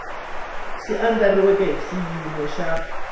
swi andlariweke hi xiyimo xa